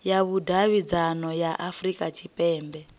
ya vhudavhidzano ya afurika tshipembe